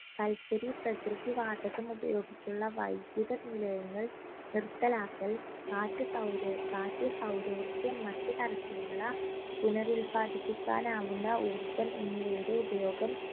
കൽക്കരി പ്രകൃതിവാതകം ഉപയോഗിച്ചുള്ള വൈദ്യുതനിലയങ്ങൾ നിർത്തലാക്കൽ കാറ്റ് സൗരോ കാറ്റ് സൗരോർജം മറ്റുതരത്തിലുള്ള പുനരുല്പാദിപ്പിക്കാനാവുന്ന ഊർജം എന്നിവയുടെ ഉപയോഗം